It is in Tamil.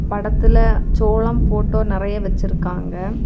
படத்துல சோளம் போட்டோ நறைய வச்சிருக்காங்க.